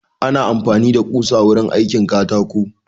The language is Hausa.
Ana amfani da ƙusa wurin aikin katako